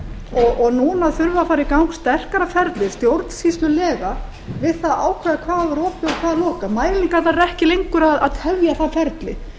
og núna þarf að fara í gang sterkara ferli stjórnsýslulega við það að ákveða hvað á að vera opið og hvað á að vera lokað mælingarnar eru ekki lengur að tefja það ferli